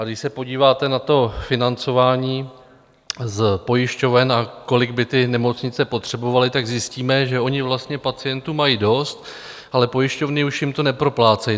A když se podíváte na to financování z pojišťoven, a kolik by ty nemocnice potřebovaly, tak zjistíme, že ony vlastně pacientů mají dost, ale pojišťovny už jim to neproplácejí.